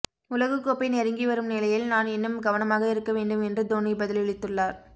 உலகக்கோப்பை நெறுங்கி வரும் நிலையில் நான் இன்னும் கவனமாக இருக்க வேண்டும் என்று தோனி பதிலளித்துள்ளார்